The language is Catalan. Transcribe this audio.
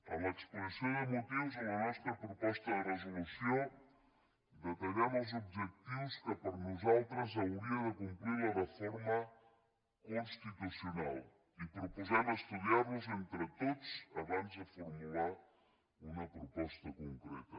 en l’exposició de motius de la nostra proposta de resolució detallem els objectius que per a nosaltres hauria de complir la reforma constitucional i proposem estudiar los entre tots abans de formular una proposta concreta